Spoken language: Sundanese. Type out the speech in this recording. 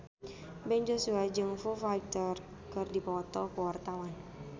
Ben Joshua jeung Foo Fighter keur dipoto ku wartawan